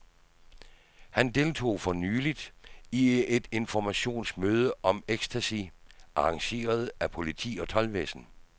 Han deltog for nyligt i et informationsmøde om ecstasy, arrangeret af politi og toldvæsen.